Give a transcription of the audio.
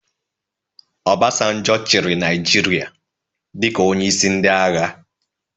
Obasanjo chịrị Naijiria dịka onyeisi ndị agha